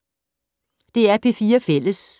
DR P4 Fælles